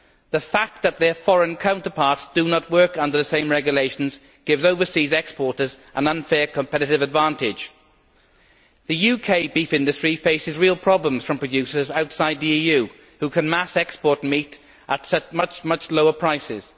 The fact that their foreign counterparts do not work under the same regulations gives overseas exporters an unfair competitive advantage. The UK beef industry faces real problems from producers outside the EU, who can mass export meat at much lower prices.